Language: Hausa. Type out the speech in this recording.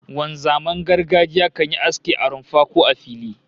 Wanzaman gargajiya kan yi aski a rumfa, ko a fili